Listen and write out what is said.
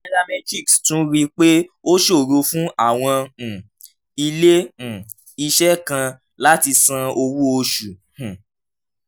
nairametrics tún rí i pé ó ṣòro fún àwọn um ilé um iṣẹ́ kan láti san owó oṣù um